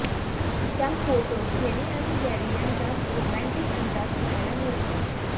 त्याफोटोत Jenny आणि Gary यांचा romantic अंदाज पाहायला मिळतोय